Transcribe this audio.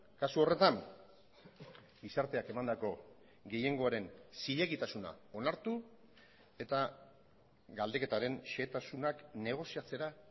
kasu horretan gizarteak emandako gehiengoaren zilegitasuna onartu eta galdeketaren xehetasunak negoziatzera